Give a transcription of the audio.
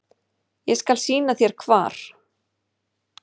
Ég skal sýna þér hvar.